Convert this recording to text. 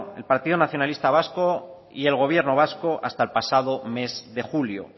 el partido nacionalista vasco y el gobierno vasco hasta el pasado mes de julio